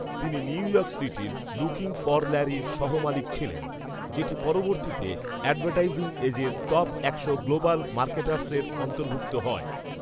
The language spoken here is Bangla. তিনি নিউ ইয়র্ক সিটির "লুকিংফরল্যারির সহ মালিক ছিলেন, যেটি পরবর্তীতে অ্যাডভার্টাইসিং এজের টপ একশো গ্লোবাল মার্কেটার্সের অন্তর্ভুক্ত হয়